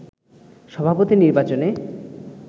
সভাপতি নির্বাচনে